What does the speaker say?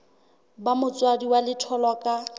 ba motswadi wa letholwa ka